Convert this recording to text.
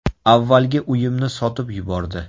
Avvalgi uyimni sotib yubordi.